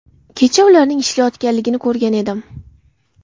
Kecha ularning ishlayotganligini ko‘rgan edim.